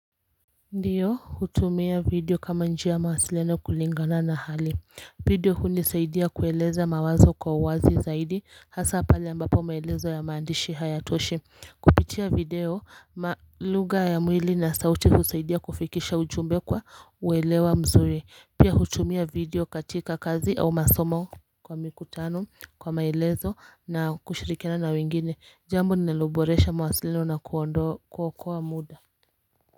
Ndio hutumia video kama njia ya mawasiliano kulingana na hali video hunisaidia kueleza mawazo kwa uwazi zaidi hasa pale ambapo maelezo ya maandishi hayatoshi kupitia video ma lugha ya mwili na sauti husaidia kufikisha ujumbe kwa uelewa mzuri pia hutumia video katika kazi au masomo kwa mikutano kwa maelezo na kushirikina na wengine jambo lililoboresha mawasiliano na kuokoa muda.